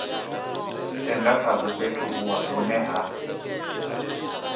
tenda khazwo fhethu hune ha